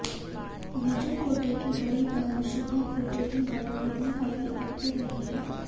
विजू खोटे की बड़ी बहन शुभा खोटे भी बॉलीवुड में काफी एक्टिव रही है